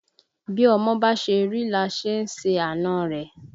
Bí ọmọ bá ṣe rí là á ṣe àna rẹ̀